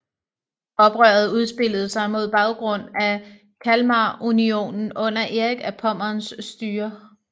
Oprøret udspillede sig mod baggrund af Kalmarunionen under Erik af Pommerns styre